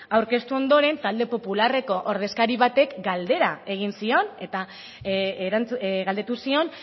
aurkeztu ondoren talde popularreko ordezkari batek galdera egin zion eta galdetu zion